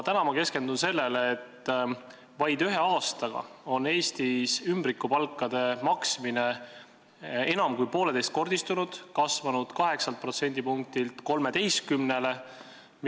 Ma keskendun täna sellele, et vaid ühe aastaga on Eestis ümbrikupalkade maksmine enam kui poolteist korda kasvanud – 8 protsendipunktilt 13-le.